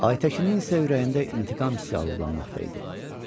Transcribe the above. Ay Təşinin isə ürəyində intiqam hissi alovlanmaqda idi.